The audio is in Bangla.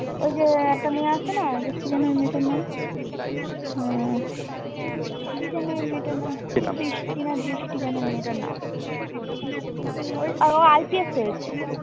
ওই যে একটা মেয়ে আছে না যে কি যেন এই মেয়েটার নাম কি যেন এই মেয়েটার নাম বৃষ্টি না দৃষ্টি যেন মেয়েটার নাম ও IPS হয়েছে।